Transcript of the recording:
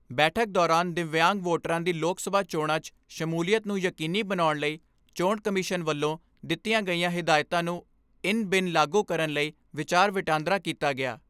ਬੈਠਕ ਦੌਰਾਨ ਦਿਵਿਆਂਗ ਵੋਟਰਾਂ ਦੀ ਲੋਕ ਸਭਾ ਚੋਣਾਂ 'ਚ ਸ਼ਮੂਲੀਅਤ ਨੂੰ ਯਕੀਨੀ ਬਣਾਉਣ ਲਈ ਚੋਣ ਕਮਿਸ਼ਨ ਵੱਲੋਂ ਦਿੱਤੀਆਂ ਗਈਆਂ ਹਦਾਇਤਾਂ ਨੂੰ ਇਨ ਬਿਨ ਲਾਗੂ ਕਰਨ ਲਈ ਵਿਚਾਰ ਵਟਾਂਦਰਾ ਕੀਤਾ ਗਿਆ।